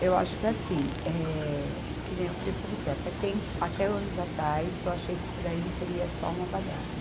Eu acho que é assim, eh, que nem eu falei para você, até tem, até anos atrás eu achei que isso daí seria só uma baderna.